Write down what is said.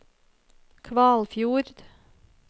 Kvalfjord